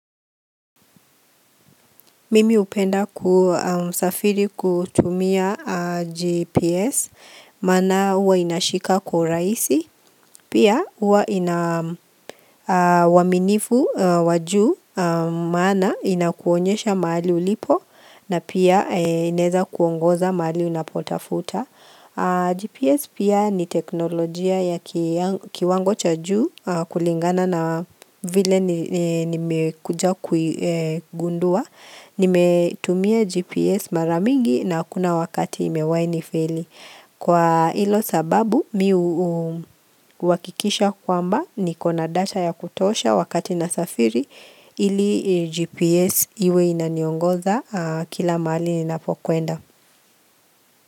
Mimi hupenda kusafiri kutumia GPS, maana huwa inashika kwa urahisi, pia huwa ina uaminifu wa juu, maana inakuonyesha mahali ulipo, na pia inaeza kuongoza mahali unapotafuta. GPS pia ni teknolojia ya kiwango cha juu kulingana na vile nimekuja kuigundua. Nimetumia GPS mara mingi na hakuna wakati imewahi nifeli. Kwa hilo sababu mi huhakikisha kwamba niko na data ya kutosha wakati nasafiri ili GPS iwe inaniongoza kila mahali ninapokwenda.